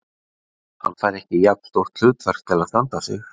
Hann fær ekki jafn stórt hlutverk til að standa sig.